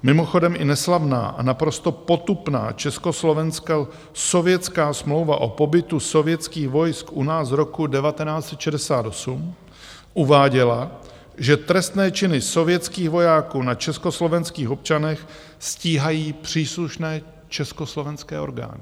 Mimochodem i neslavná a naprosto potupná československo-sovětská smlouva o pobytu sovětských vojsk u nás z roku 1968 uváděla, že trestné činy sovětských vojáků na československých občanech stíhají příslušné československé orgány.